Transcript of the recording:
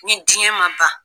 Ni diɲɛ ma ban